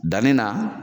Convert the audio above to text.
Danni na